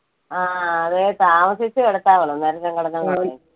ആ അത് താമസിച്ചേ കിടത്താവൊള്ളൂ അന്നേരം